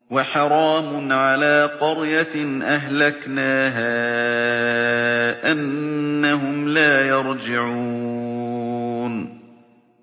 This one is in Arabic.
وَحَرَامٌ عَلَىٰ قَرْيَةٍ أَهْلَكْنَاهَا أَنَّهُمْ لَا يَرْجِعُونَ